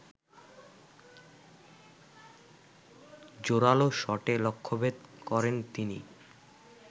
জোরালো শটে লক্ষ্যভেদ করেন তিনি